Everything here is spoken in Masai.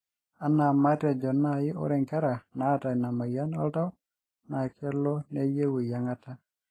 anaa maetejo nai ore nkera naata ina moyian oltau na kelo neyieu eyiangata